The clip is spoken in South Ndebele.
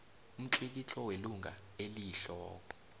umtlikitlo welunga eliyihloko